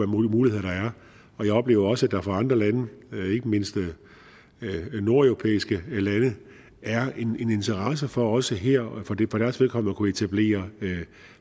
muligheder der er og jeg oplever også at der fra andre lande ikke mindst nordeuropæiske lande er en interesse for også her for deres vedkommende at kunne etablere